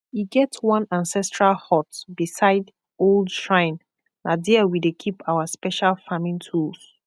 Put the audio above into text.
e get one ancestral hut beside old shrine na there we dey keep our special farming tools